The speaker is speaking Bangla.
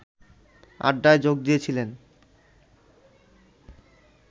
আড্ডায় যোগ দিয়েছিলেন